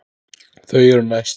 Þau eru næst.